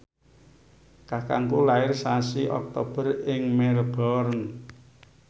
kakangku lair sasi Oktober ing Melbourne